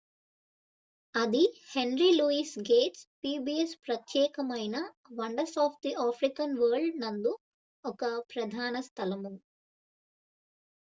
అది henry louis gates' pbs ప్రత్యేకమైన wonders of the African world నందు ఒక ప్రధాన స్థలము